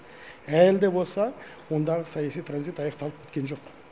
әлі де болса ондағы саяси транзит аяқталып біткен жоқ